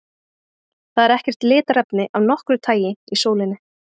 Það er ekkert litarefni af nokkru tagi í sólinni.